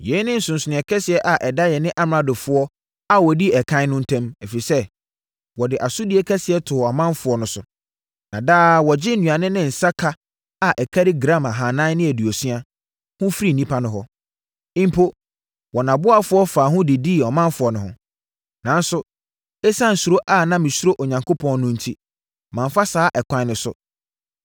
Yei ne nsonsonoeɛ kɛseɛ a ɛda yɛne amradofoɔ a wɔdii ɛkan no ntam, ɛfiri sɛ, wɔde asodie kɛseɛ too ɔmanfoɔ no so. Na daa wɔgye nnuane ne nsã ka a ɛkari gram ahanan ne aduosia (460) ho firi nnipa no hɔ. Mpo, wɔn aboafoɔ faa ho didii ɔmanfoɔ no ho. Nanso, ɛsiane suro a na mesuro Onyankopɔn no enti, mamfa saa ɛkwan no so.